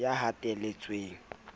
ya hatelletsweng a se a